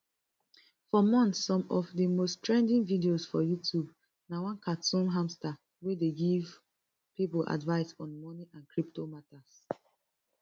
for months some of di most trending video for youtube na one cartoon hamster wey dey give pipo advice on money and crypto matters